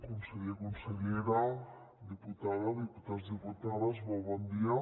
conseller consellera diputada diputats diputades molt bon dia